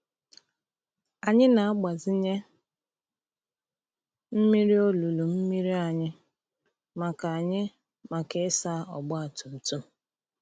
Anyị na-agbazinye mmiri olulu mmiri anyị maka anyị maka ịsa ọgba tum tum.